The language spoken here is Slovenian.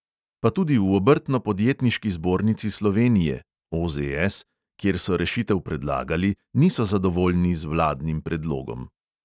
Pa tudi v obrtno-podjetniški zbornici slovenije kjer so rešitev predlagali, niso zadovoljni z vladnim predlogom.